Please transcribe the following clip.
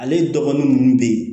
Ale dɔgɔnin ninnu bɛ yen